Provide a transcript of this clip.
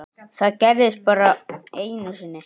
Það gerðist bara einu sinni.